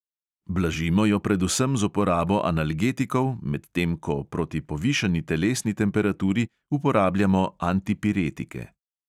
Blažimo jo predvsem z uporabo analgetikov, medtem ko proti povišani telesni temperaturi uporabljamo antipiretike.